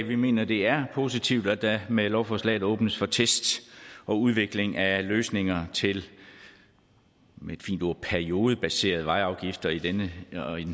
vi mener det er positivt at der med lovforslaget åbnes for tests og udvikling af løsninger til med et fint ord periodebaserede vejafgifter og i den